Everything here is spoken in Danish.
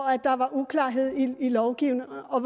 at der var uklarhed i lovgivningen og